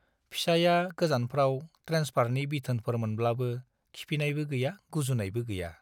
फिसाइया गोजानफ्राव ट्रेन्सफारनि बिथोनफोर मोनब्लाबो खिफिनायबो गैया गुजुनायबो गैया।